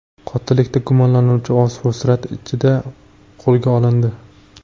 Qotillikda gumonlanuvchi oz fursat ichida qo‘lga olindi.